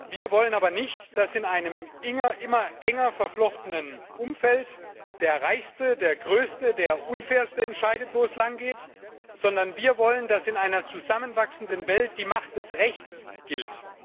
Wir wollen aber nicht, dass in einem immer enger verflochtenen Umfeld der Reichste, der Größte, der Unfairste entscheidet, wo es langgeht, sondern wir wollen, dass in einer zusammenwachsenden Welt die Macht des Rechts gilt.